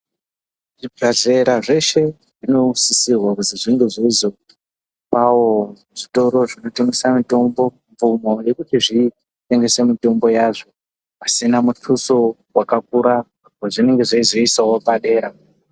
Zvi bhedhlera zveshe zvino sisirwa kuzi zvinge zveizopawo zvitoro zvinotengesa mitombo mvumo yekuti zviendese mitombo yazvo pasina mutuso wakakura wa zvinenge zveizo isawo padera.